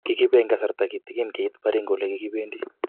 Kikibe eng kasarta kitikin keit Baringo olekikibendi